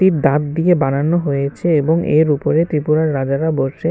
এটি দাঁত দিয়ে বানানো হয়েছে এবং এর উপরে ত্রিপুরার রাজারা বসে।